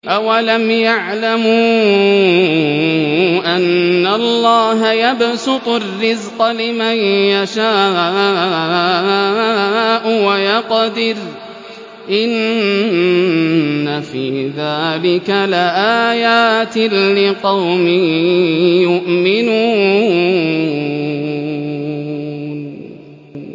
أَوَلَمْ يَعْلَمُوا أَنَّ اللَّهَ يَبْسُطُ الرِّزْقَ لِمَن يَشَاءُ وَيَقْدِرُ ۚ إِنَّ فِي ذَٰلِكَ لَآيَاتٍ لِّقَوْمٍ يُؤْمِنُونَ